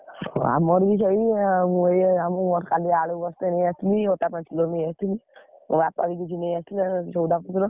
ଆମର ବି ସେଇ କାଲି ଆଳୁ ବସ୍ତେ ନେଇଆସି ଥିଲି ଅଟା ପାଞ୍ଚ kilo ନେଇଆସିଥିଲି ମୋ ବାପା ବି କିଛି ନେଇ ଆସିଥିଲେ ସଉଦା ପତର।